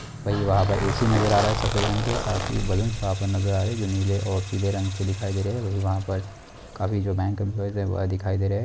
बाहापार AC नाजार आरहा हे सफेद रंगके साफ़ी बेलूनस उहापार नाजार आरहा हे जो नीले और पीले रंगके दिखाई देरहे हे वही बाहापार काफी जो बैंक इम्प्लॉईस हे बा दिखाई देरहे हे।